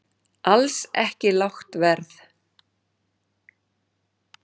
Alls ekki lágt verð